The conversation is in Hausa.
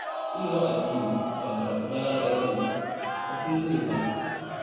Ilimin addini ba karatun rana ɗaya ba ne, na kullum ne fa